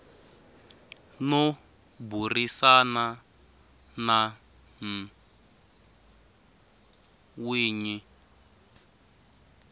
no burisana na n winyi